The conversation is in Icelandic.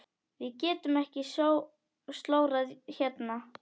Við getum ekki slórað hérna.